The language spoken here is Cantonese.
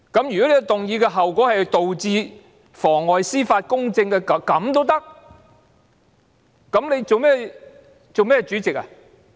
如果提出議案的後果是妨礙司法公正，那你還當甚麼主席呢？